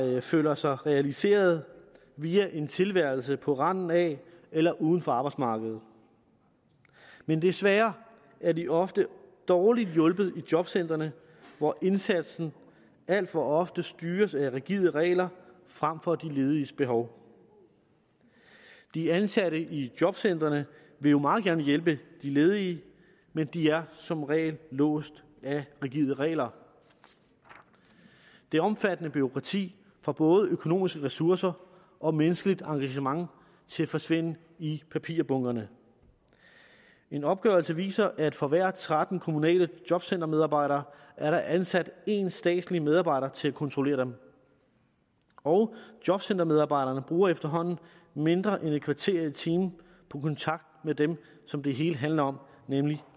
der føler sig realiseret via en tilværelse på randen af eller uden for arbejdsmarkedet men desværre er de ofte dårligt hjulpet i jobcentrene hvor indsatsen alt for ofte styres af rigide regler frem for af de lediges behov de ansatte i jobcentrene vil jo meget gerne hjælpe de ledige men de er som regel låst af rigide regler det omfattende bureaukrati får både økonomiske ressourcer og menneskeligt engagement til at forsvinde i papirbunkerne en opgørelse viser at for hver tretten kommunale jobcentermedarbejdere er der ansat en statslig medarbejder til at kontrollere dem og jobcentermedarbejderne bruger efterhånden mindre end et kvarter i timen på kontakt med dem som det hele handler om nemlig